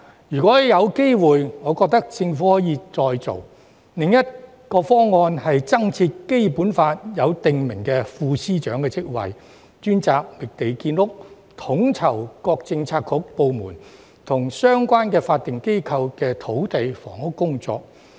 如果有機會，我覺得政府可以再做。另一個方案是增設《基本法》中訂明的副司長職位，專責覓地建屋，統籌各個政策局、部門，以及相關法定機構的土地房屋工作。